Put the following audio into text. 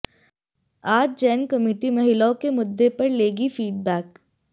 आज जैन कमेटी महिलाओं के मुद्दे पर लेगी फीडबैक